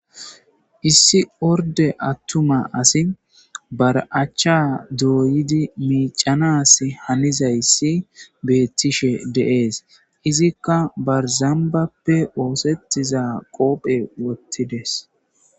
issi orde attuma asi bara'achcha dooyidi miicanas hanizayssi beettishe de'ees izikka barzambappe oosettizaa qoophe wottides